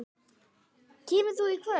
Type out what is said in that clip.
Kemur þú í kvöld?